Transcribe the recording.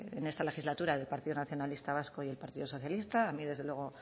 en esta legislatura del partido nacionalista vasco y el partido socialista a mí desde luego